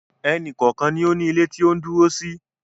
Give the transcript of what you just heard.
Ẹnì kọ̀ọ̀kan ni ó ní ilé tí ó ń dúró sí